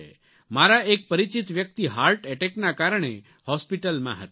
અમારા એક પરિચિત વ્યક્તિ હાર્ટ એટેકના કારણે હોસ્પિટલમાં હતા